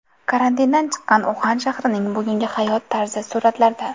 Karantindan chiqqan Uxan shahrining bugungi hayot tarzi – suratlarda.